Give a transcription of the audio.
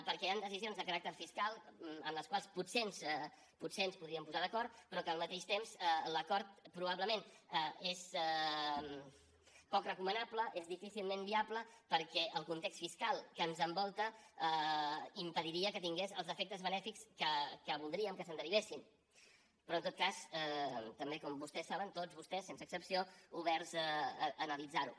perquè hi han decisions de caràcter fiscal amb les quals potser ens podríem posar d’acord però que al mateix temps l’acord probablement és poc recomanable és difícilment viable perquè el context fiscal que ens envolta impediria que tingués els efectes benèfics que voldríem que se’n derivessin però en tot cas també com vostès saben tots vostès sense excepció oberts a analitzar ho